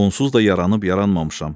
Onsuz da yaranıb yaranmamışam.